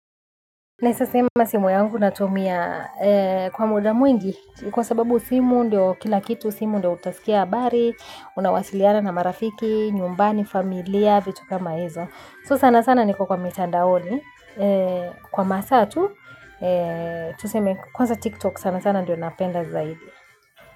Naweza sema simu yangu natumia kwa mda mwingi kwa sababu simu ndio kila kitu simu ndio utasikia habari unawasiliana na marafiki, nyumbani, familia, vitu kama hizo. So sana sana niko kwa mitandaoni kwa masaa tu, tuseme kwanza tiktok sana sana ndio napenda zaidi.